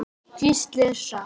Hvíslið er satt.